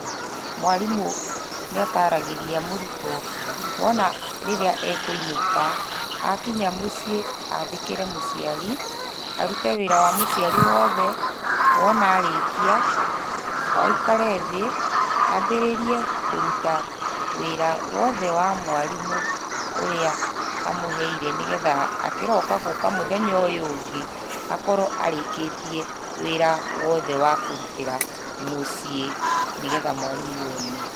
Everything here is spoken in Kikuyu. Mwarimũ nĩataragĩria mũrutwo, wona rĩrĩa ekũinũka, akinya mũciĩ, athĩkĩre mũciari, arute wĩra wa mũciari woothe. Wona arĩkia, aikare thĩ, ambĩrĩrie kũruta wĩra wothe wa mwarimũ, ũrĩa amũheire nĩgetha akĩroka gũka mũthenya ũyũ ũngĩ, akorwo arĩkĩtie, wĩra wothe wa kũrutĩra mũciĩ, nĩgetha mwarimũ one.